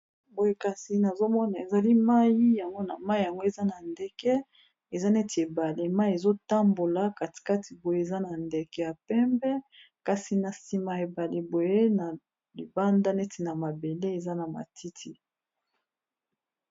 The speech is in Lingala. Boye kasi nazomona ezali mai yango na mai yango eza na ndeke eza neti ebale mai ezotambola katikati boye eza na ndeke ya pembe, kasi na nsima y ebali boye na libanda neti na mabele eza na matiti